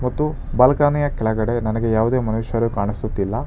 ಮತ್ತು ಬಾಲ್ಕಾನಿಯ ಕೆಳಗಡೆ ನನಗೆ ಯಾವುದೇ ಮನುಷ್ಯರು ಕಾಣಿಸುತ್ತಿಲ್ಲ.